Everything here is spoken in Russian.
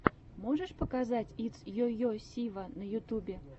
можешь показать итс йо йо сива на ютюбе